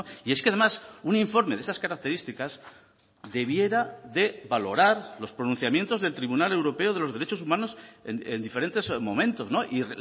y es que además un informe de esas características debiera de valorar los pronunciamientos del tribunal europeo de los derechos humanos en diferentes momentos y